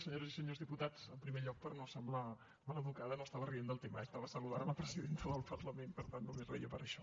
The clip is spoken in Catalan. senyores i senyors diputats en primer lloc per no semblar mal educada no estava rient del tema eh estava saludant la presidenta del parlament per tant només reia per això